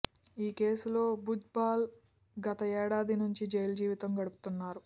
ఈ కేసులో భుజ్బల్ గత ఏడాది నుంచి జైలు జీవితం గడుపుతున్నారు